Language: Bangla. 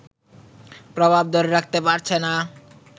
প্রভাব ধরে রাখতে পারছে না